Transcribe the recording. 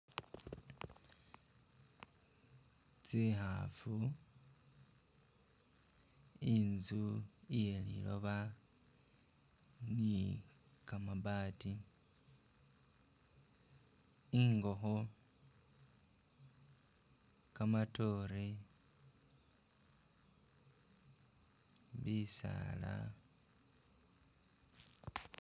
Tsihafu, inzu iye liloba ni kamabati, ingoho, kamatore, bisaala,